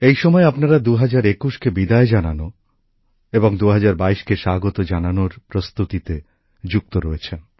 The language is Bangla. এই সময় আপনারা ২০২১কে বিদায় জানানো এবং ২০২২কে স্বাগত জানানোর প্রস্তুতিতে ব্যস্ত রয়েছেন